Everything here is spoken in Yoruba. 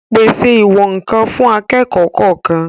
Pèse ìwọ̀n-ǹkan fún akẹ́kọ̀ọ́ kọ̀ọ̀kan